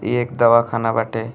इ एक दवाखाना बाटे।